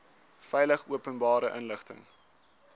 veilig openbare inligting